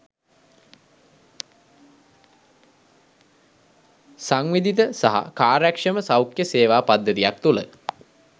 සංවිධිත සහ කාර්යක්‍ෂම සෞඛ්‍ය සේවා පද්ධතියක් තුළ